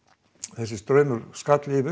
þessi straumur skall yfir